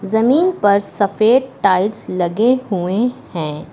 जमीन पर सफेद टाइल्स लगे हुए हैं।